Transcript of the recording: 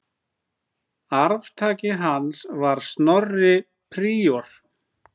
Arftaki hans var Snorri príor.